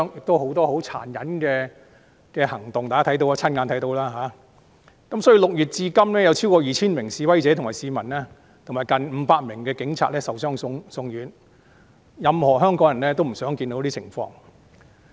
大家都親眼看過這等十分殘忍的行為，所以6月至今有超過 2,000 名示威者及市民，以及近500名警察受傷送院，這是所有香港人都不想看到的情況。